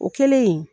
O kɛlen